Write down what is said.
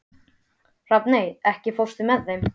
Rafney, ekki fórstu með þeim?